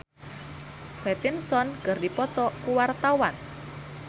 Mo Sidik jeung Robert Pattinson keur dipoto ku wartawan